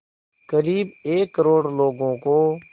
क़रीब एक करोड़ लोगों को